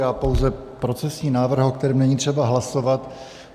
Já pouze procesní návrh, o kterém není třeba hlasovat.